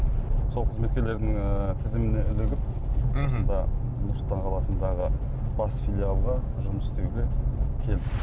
сол қызметкерлердің ііі тізіміне ілігіп мхм осында нұр сұлтан қаласындағы бас филиалға жұмыс істеуге келдім